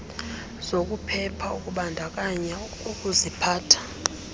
zokuphepha ukuzibandakanya kukuziphatha